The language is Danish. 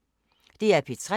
DR P3